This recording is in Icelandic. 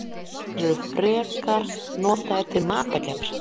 Þeir eru frekar notaðir til matargerðar.